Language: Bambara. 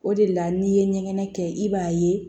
O de la n'i ye ɲɛgɛn kɛ i b'a ye